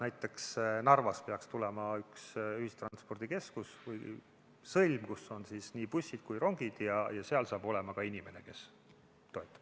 Näiteks peaks Narvas tulema üks ühistranspordikeskus või -sõlm, kus on nii bussid kui ka rongid ja seal saab olema ka inimene, kes toetab.